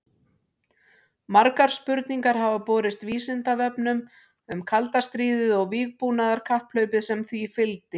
Margar spurningar hafa borist Vísindavefnum um kalda stríðið og vígbúnaðarkapphlaupið sem því fylgdi.